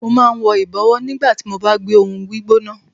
Mo máa ń wọ ìbọ̀wọ́ nígbà tí mo bá gbé ohùn gbígbóná.